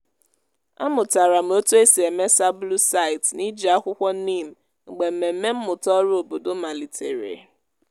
amụtara m otu esi eme sabulu site n’iji akwukwo neem mgbe mmemme mmụta oru obodo malitere.